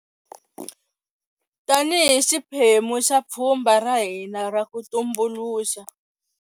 Tanihi xiphemu xa pfhumba ra hina ra ku tumbuluxa.